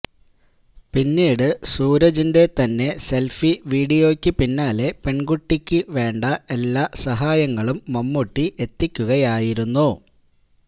പിന്നീട് സൂരജിന്റെ തന്നെ സെൽഫി വീഡിയോക്ക് പിന്നാലെ പെൺകുട്ടിക്ക് വേണ്ട എല്ലാ സഹായങ്ങളും മമ്മൂട്ടി എത്തിക്കുകയായിരുന്നു